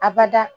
Abada